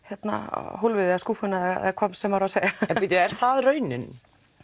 hólfið eða skúffuna eða hvað maður á að segja er það raunin